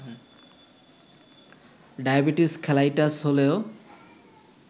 diabetes খেলাইটাস হলেও